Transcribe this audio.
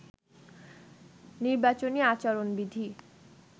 নির্বাচনী আচরণবিধি